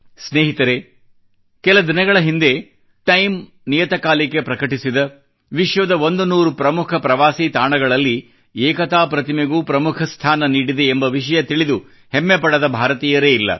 ಸ್ನೇಹಿತರೆ ಕೆಲ ದಿನಗಳ ಹಿಂದೆ ಟೈಮ್ ನಿಯತ ಕಾಲಿಕೆ ಪ್ರಕಟಿಸಿದ ವಿಶ್ವದ 100 ಪ್ರಮುಖ ಪ್ರವಾಸಿ ತಾಣಗಳಲ್ಲಿ ಏಕತಾ ಪ್ರತಿಮೆಗೂ ಪ್ರಮುಖ ಸ್ಥಾನ ನೀಡಿದೆ ಎಂಬ ವಿಷಯ ತಿಳಿದು ಹೆಮ್ಮೆ ಪಡದ ಭಾರತೀಯರೇ ಇಲ್ಲ